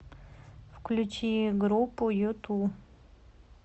включи группу юту